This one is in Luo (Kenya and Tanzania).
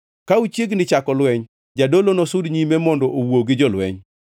Ka uchiegni chako lweny, jadolo nosud nyime mondo owuo gi jolweny.